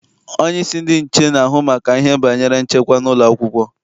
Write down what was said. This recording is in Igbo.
Onyeisi ndị nche na-ahụ maka ihe banyere nchekwa n'ụlọakwụkwọ.